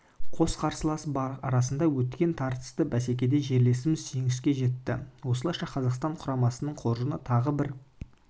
қос қарсылас арасында өткен тартысты бәсекеде жерлесіміз жеңіске жетті осылайша қазақстан құрамасының қоржыны тағы бір